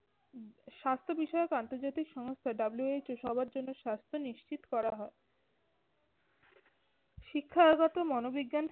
স্বাস্থ্য বিষয়ক আন্তর্জাতিক সংস্থা WHO সবার জন্য স্বাস্থ্য নিশ্চিত করা হয়। শিক্ষাগত মনোবিজ্ঞান